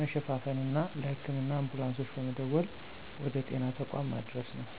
መሸፋፈንና ለህክምና አንቡላንሶች በመደወል ወደ ጤና ተቋማት ማድረስ ነው።